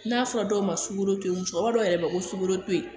N'a fɔra dɔw ma sukaro to yen musokɔrɔba dɔw yɛrɛ bɛ yen ko sukoro to yen